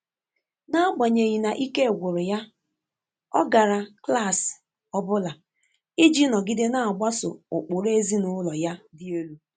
N’ágbànyéghị́ nà íké gwụ̀rụ̀ yá, ọ gárá klás ọ bụ́lá ìjí nọgídé nà-àgbàsò ụ́kpụ́rụ́ èzínụ́lọ yá dị́ èlú.